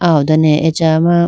ah ho done acha ma.